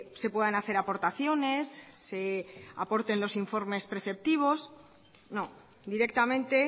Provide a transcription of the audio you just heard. se puedan hacer aportaciones se aporten los informes preceptivos no directamente